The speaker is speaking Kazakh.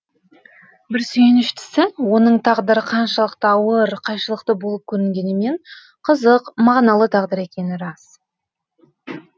бір сүйініштісі оның тағдыры қаншалықты ауыр қайшылықты болып көрінгенімен қызық мағыналы тағдыр екені рас